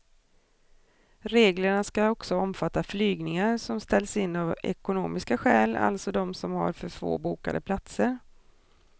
Reglerna ska också omfatta flygningar som ställs in av ekonomiska skäl, alltså de som har för få bokade platser.